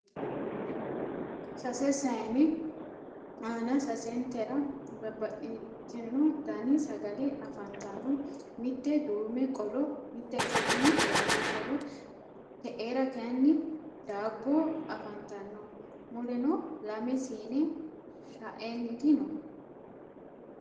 sasse saanne aanna sassenitera babaxitino danni sagale afanitanno mittete duume qollo, mittete kayinni waajo qollo, te'era kayiini daabbo afantanno mulleno lamme siinne shaenniti no